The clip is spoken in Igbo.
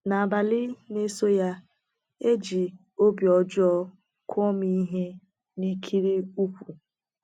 N’abalị na - eso ya, e ji obi ọjọọ kụọ m ihe n’ikiri ụkwụ.